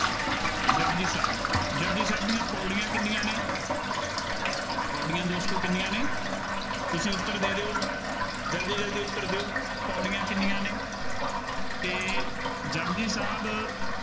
ਜਪੁਜੀ ਸਾਹਿਬ, ਜਪੁਜੀ ਸਾਹਿਬ ਦੀਆਂ ਪੌੜੀਆਂ ਕਿੰਨੀਆਂ ਨੇ, ਪੌੜੀਆਂ ਦੋਸਤੋ ਕਿੰਨੀਆਂ ਨੇ, ਤੁਸੀਂ ਉੱਤਰ ਦੇ ਰਹੋ ਹੋ, ਜਲਦੀ ਜਲਦੀ ਉੱਤਰ ਦਿਉ, ਪੌੜੀਆਂ ਕਿੰਨੀਆਂ ਨੇ ਅਤੇ ਜਪੁਜੀ ਸਾਹਿਬ ਅਹ